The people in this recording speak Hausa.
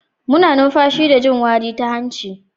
Muna numfashi da jin wari ta hanci.